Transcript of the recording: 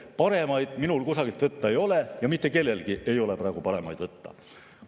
Paremaid andmeid minul kusagilt võtta ei ole, mitte kellelgi ei ole praegu paremaid võtta.